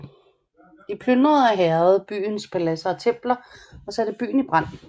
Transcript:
De plyndrede og hærgede byens paladser og templer og satte byen i brand